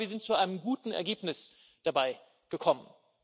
Und ich glaube, wir sind zu einem guten Ergebnis dabei gekommen.